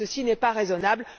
Ceci n'est pas raisonnable.